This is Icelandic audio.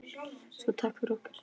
Svo takk fyrir okkur.